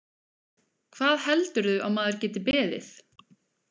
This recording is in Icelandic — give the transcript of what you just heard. Hvað heldurðu að maður geti beðið?